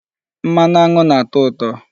Mmanụ aṅụ na-atọ ụtọ.